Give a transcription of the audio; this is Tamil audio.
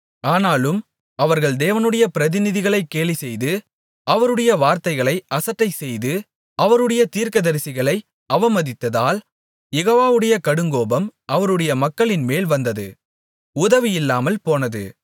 ஆனாலும் அவர்கள் தேவனுடைய பிரதிநிதிகளைக் கேலிசெய்து அவருடைய வார்த்தைகளை அசட்டைசெய்து அவருடைய தீர்க்கதரிசிகளை அவமதித்ததால் யெகோவாவுடைய கடுங்கோபம் அவருடைய மக்களின்மேல் வந்தது உதவி இல்லாமல் போனது